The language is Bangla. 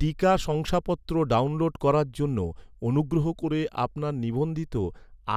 টিকা শংসাপত্র ডাউনলোড করার জন্য, অনুগ্রহ করে আপনার নিবন্ধিত